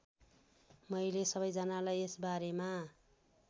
मैले सबैजनालाई यसबारेमा